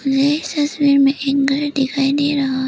मुझे इस तस्वीर में एक घर दिखाई दे रहा है।